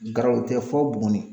Garaloo tɛ fɔ Buguni.